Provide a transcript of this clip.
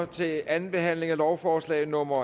til anden behandling af lovforslag nummer